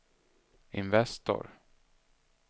Investor